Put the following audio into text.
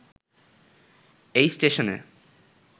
এই স্টেশনে